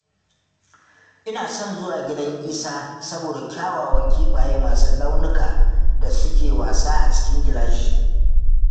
Ina son zuwa gidan Isa saboda kyawawan kifaye masu launuka da suke wasa a cikin gilashi